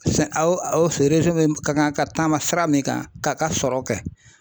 awɔ awɔ fɛ min ka kan ka taama sira min kan k'a ka sɔrɔ kɛ .